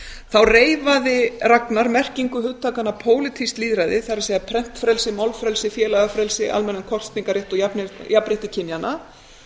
þá reifaði ragnar merkingu hugtakanna pólitískt lýðræði það er prentfrelsi málfrelsi félagafrelsi almennan kosningarrétt og jafnrétti kynjanna